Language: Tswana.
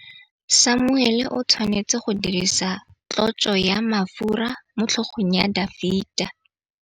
Samuele o tshwanetse go dirisa tlotsô ya mafura motlhôgong ya Dafita.